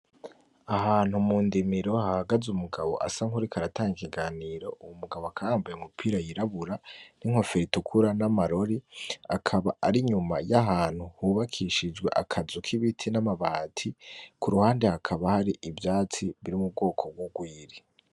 Ahantu mu ndimiro hahagaze umugabo asa nkuriko aratanga ikiganiro, uwu mugabo akaba yambaye umupira w'irabura n'inkofero itukura n'amarori' akaba ari nyuma y'ahantu hubakishijwe akazu k'ibiti n'amabati ku ruhande hakaba hari ivyatsi biri mu bwoko bw'urwiri.